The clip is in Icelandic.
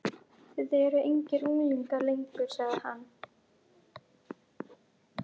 Þið eruð engir unglingar lengur sagði hann.